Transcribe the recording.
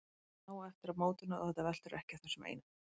Það er samt nóg eftir af mótinu og þetta veltur ekki á þessum eina leik.